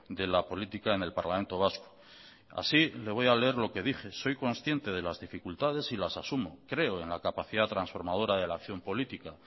de la política en el parlamento vasco así le voy a leer lo que dije soy consciente de las dificultades y las asumo creo en la capacidad transformadora de la acción política